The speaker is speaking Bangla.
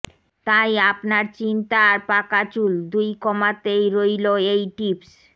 তাই আপনার চিন্তা আর পাকা চুল দুই কমাতেই রল এই টিপস্